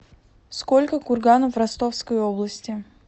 сколько курганов в ростовской области